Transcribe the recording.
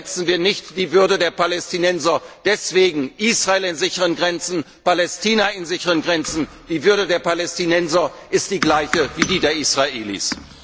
Verletzen wir nicht die Würde der Palästinenser! Deswegen Israel in sicheren Grenzen, Palästina in sicheren Grenzen. Die Würde der Palästinenser ist die gleiche wie die der Israelis.